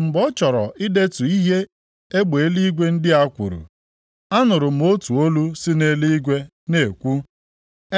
Mgbe m chọrọ idetu ihe egbe eluigwe ndị a kwuru, anụrụ m otu olu si nʼeluigwe na-ekwu,